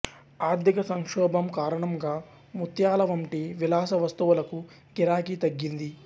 ఆర్థికసంక్షోభం కారణంగా ముత్యాల వంటి విలాస వస్తువులకు గిరాకీ తగ్గింది